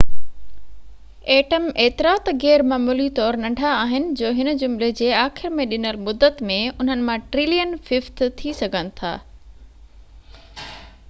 atom ايترا ته غيرمعمولي طور ننڍا آهن جو هن جملي جي آخر ۾ ڏنل مدت ۾ انهن مان ٽرلين ففٽ ٿي سگھن ٿا